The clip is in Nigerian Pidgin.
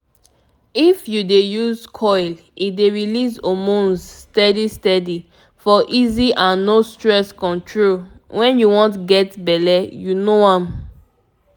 if u dey use coil e dey release hormones steady steady for easy and no stress control wen u wan get belle u know am